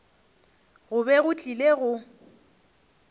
go be go tlile go